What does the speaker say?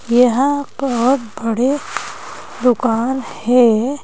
यहां बहुत बड़े दुकान है।